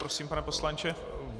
Prosím, pane poslanče.